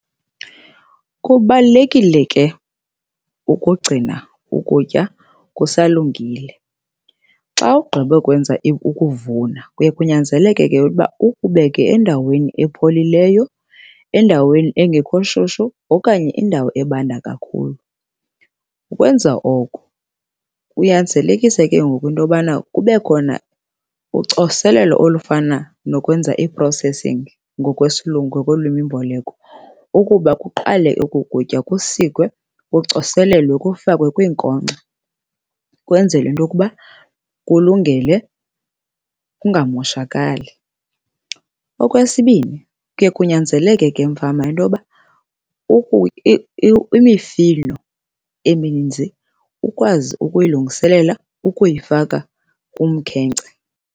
Kubalulekile ke ukugcina ukutya kusalungile. Xa ugqibe ukwenza ukuvuna, kuye kunyanzeleke ke ukuba ukubeke endaweni epholileyo, endaweni engekho shushu okanye indawo ebandayo kakhulu. Ukwenza oko kunyanzelekise ke ngoku into yobana kube khona ucoselelo olufana nokwenza i-processing ngokwesiLungu, ngokolwimimboleko, ukuba kuqale oku kutya kusikwe, kucoselelwe, kufakwe kwiinkonkxa kwenzele into yokuba kulungele kungamoshakali. Okwesibini, kuye kunyanzeleke ke mfama into yoba imifino emininzi ukwazi ukuyilungiselela ukuyifaka kumkhenkce.